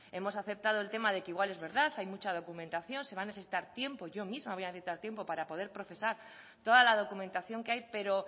hemos aceptado el tema de que igual es verdad hay mucha documentación se va a necesitar tiempo yo misma voy a necesitar tiempo para poder procesar toda la documentación que hay pero